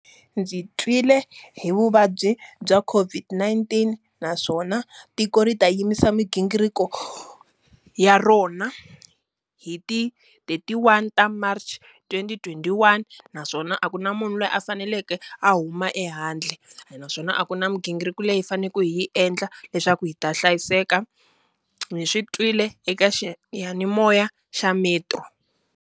Ndzi twile hi vuvabyi bya COVID-19 naswona tiko ri ta yimisa migingiriko ya rona hi ti-thirty-one ta March twenty twenty-one, naswona a ku na munhu loyi a faneleke a huma ehandle. Ene naswona a ku na migingiriko leyi hi faneleke hi yi endla leswaku hi ta hlayiseka. Ndzi swi twile eka xiyanimoya xa Metro.